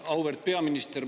Auväärt peaminister!